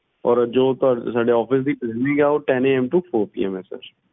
ਔਰ ਜੋ ਸਾਡੇ office ਦੀ timing ਹੈ ਉਹ tenAM ਤੋਂ fourPMsir